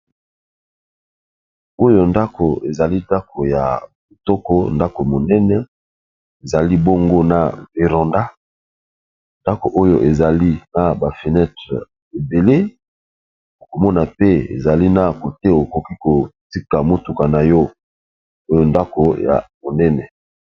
Oyo ndako ezali ndako ya kitoko ndako monene ezali bongo na veranda, ndako oyo ezali na ba fenetre ebele, okomona mpe ezali na kote okoki kotika motuka na yo oyo ndako ya monene.